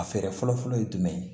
A fɛɛrɛ fɔlɔ fɔlɔ ye jumɛn ye